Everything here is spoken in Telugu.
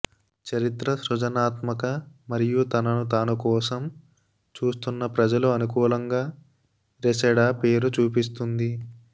చరిత్ర సృజనాత్మక మరియు తనను తాను కోసం చూస్తున్న ప్రజలు అనుకూలంగా రెసెడా పేరు చూపిస్తుంది